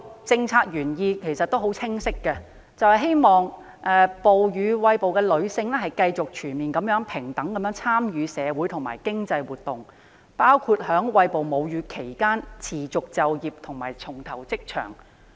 政策原意十分清晰，就是希望餵哺母乳的女性繼續全面平等參與社會和經濟活動，包括在餵哺母乳期間持續就業和重投職場。